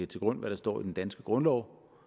til grund hvad der står i den danske grundlov